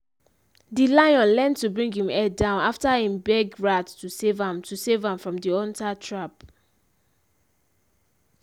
di lion learn to bring him head down afta him beg rat to save am to save am from di hunter trap